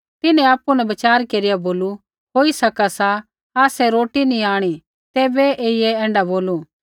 तिन्हैं आपु न विचार केरिया बोलू होई सका सा आसै रोटी नी आंणी तैबै ऐईयै ऐण्ढा बोलू